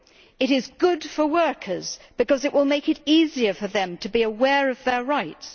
It is good for workers because it will make it easier for them to be aware of their rights.